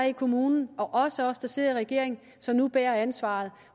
i kommunen og også os der sidder i regering som nu bærer ansvaret